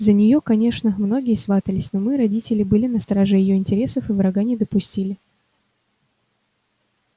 за неё конечно многие сватались но мы родители были на страже её интересов и врага не допустили